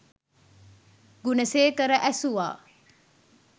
Gunasekara ඇසුවා